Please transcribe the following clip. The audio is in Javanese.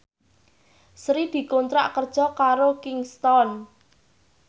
Sri dikontrak kerja karo Kingston